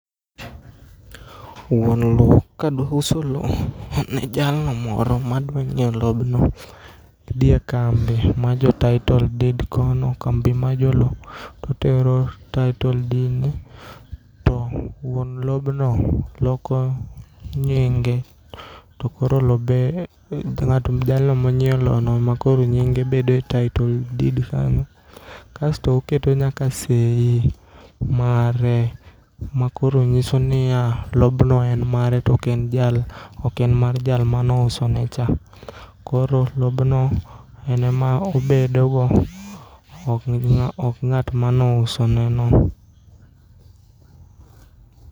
Wuon loo kadwa uso loo ne jalno moro madwanyieo lobno odhie kambi mar jo tittle deed kono kambi ma joloo totero tittle deed To wuon lobno loko nyinge to koro lobe jalno monyieo loono emakoro nyinge bede tittle deed kanyo. Kasto oketo nyaka seyi mare makoro nyiso niya lobno en mare token mar jal manousonecha. Koro lobno ene ma obedogo to okng'at manousoneno.